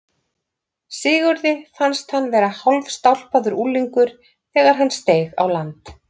Sigurði fannst hann vera hálfstálpaður unglingur þegar hann steig á land.